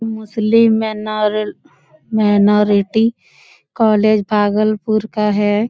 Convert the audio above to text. मुस्लिम मेनारल minority college Bhagalpur का है।